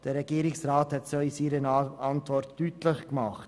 Der Regierungsrat hat es auch in seiner Antwort deutlich gemacht.